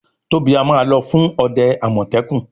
Tobi a má ló fún òde amọtẹkun.